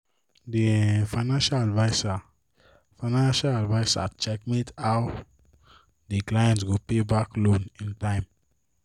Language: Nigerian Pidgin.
the um finacial adviser finacial adviser checkmate how the client go payback loan in time